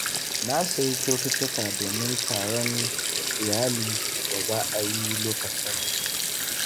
Na sayi kyaututtuka domin taron iyali da za a yi lokacin hutu.